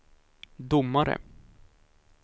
domare